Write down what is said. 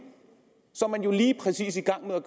så er man jo lige præcis i gang med at